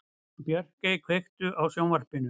Björgey, kveiktu á sjónvarpinu.